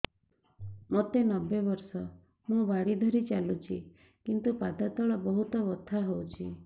ମୋତେ ନବେ ବର୍ଷ ମୁ ବାଡ଼ି ଧରି ଚାଲୁଚି କିନ୍ତୁ ପାଦ ତଳ ବହୁତ ବଥା ହଉଛି